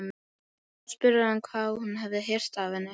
Þá spurði hann hvað hún hefði heyrt af henni.